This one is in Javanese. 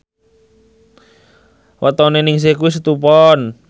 wetone Ningsih kuwi Setu Pon